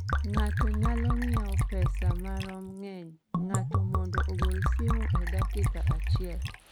ng�ato nyalo ng�iewo pesa maom ng�eny ng�ato mondo ogol simu e dakika achiel?